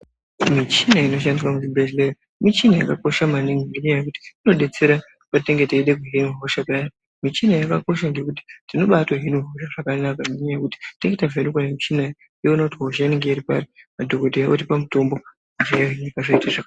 Michini inoshandiswa muzvibhehlera muchini yakakosha maningi ngendaa yekuti inodetsera patinenge teida kuhina hosha paya michini yakakosha ngekuti tinobatovhenekwa hosha zvoonekwa kuti hosha iri pari madhokoteya otipa mitombo, hosha yohinika zvakanaka.